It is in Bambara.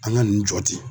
An ka nin jɔ ten